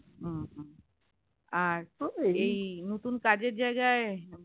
হু হু আর তো এই নতুন কাজের জায়গায়